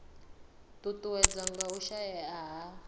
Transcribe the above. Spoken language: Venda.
ṱuṱuwedzwa nga u shaea ha